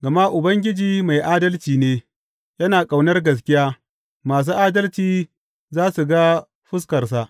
Gama Ubangiji mai adalci ne, yana ƙaunar gaskiya masu adalci za su ga fuskarsa.